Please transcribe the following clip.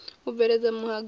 u bveledza muhanga wa u